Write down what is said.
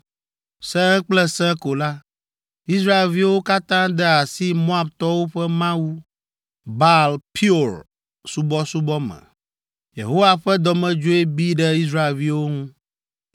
Sẽe kple sẽe ko la, Israelviwo katã de asi Moabtɔwo ƒe mawu, Baal Peor subɔsubɔ me. Yehowa ƒe dɔmedzoe bi ɖe Israelviwo ŋu.